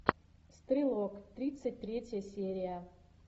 стрелок тридцать третья серия